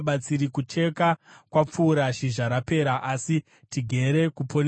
“Kucheka kwapfuura, zhizha rapera, asi tigere kuponeswa.”